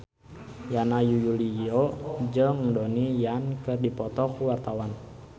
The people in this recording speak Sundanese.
Yana Julio jeung Donnie Yan keur dipoto ku wartawan